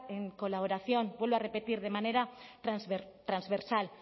en colaboración vuelvo a repetir de manera transversal